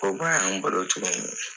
Ko ba y'an bolo tuguni.